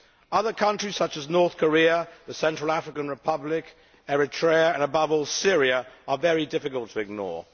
Other countries, such as North Korea, the Central African Republic, Eritrea and above all Syria are very difficult to ignore.